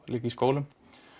líka í skólum